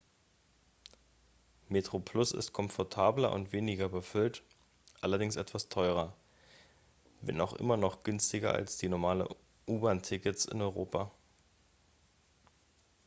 metroplus ist komfortabler und weniger überfüllt allerdings etwas teurer wenn auch immer noch günstiger als normale u-bahn-tickets in europa